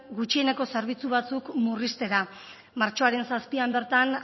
gutxieneko zerbitzu batzuk murriztera martxoaren zazpian bertan